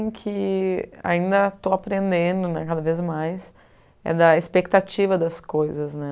que ainda estou aprendendo né cada vez mais é da expectativa das coisas.